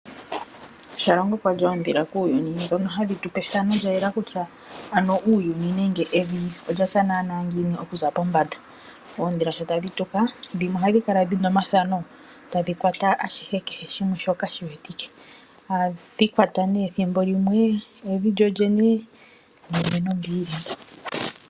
Shalongo kwa li oondhila kuuyuni ndhoka hadhi tu pe ethano lyayela kutya uuyuni nenge evi olya tya ngiini okuza pombanda. Oondhila shi tadhi tuka dhimwe ohadhi kala dhi na omathano shi tadhi tuka tadhi kwata ashihe shoka shi wetike. Ethimbo limwe ohadhi kwata evi lyo lyene niinima mbyoka yi li kevi.